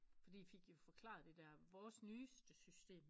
Fordi de fik jo forklaret vores nyeste system